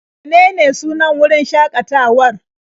Menene sunan wurin shaƙatawar?